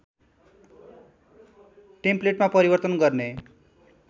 टेम्पलेटमा परिवर्तन गर्ने